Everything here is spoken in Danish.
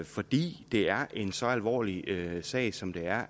fordi det er en så alvorlig sag som det er